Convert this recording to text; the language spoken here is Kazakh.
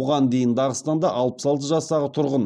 бұған дейін дағыстанда алпыс алты жастағы тұрғын